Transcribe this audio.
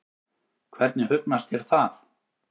Hvernig hugnast þér það?